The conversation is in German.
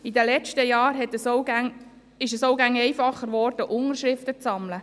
In den letzten Jahren wurde es auch immer einfacher, Unterschriften zu sammeln.